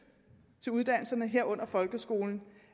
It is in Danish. til uddannelserne herunder folkeskolen